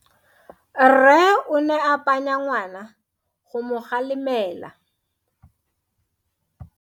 Rre o ne a phanya ngwana go mo galemela.